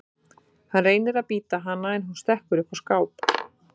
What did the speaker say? Hann reynir að bíta hana en hún stekkur upp á skáp.